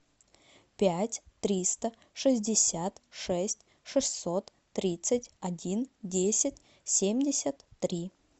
пять триста шестьдесят шесть шестьсот тридцать один десять семьдесят три